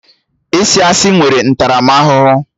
Ịsị asị nwere ntaramahụhụ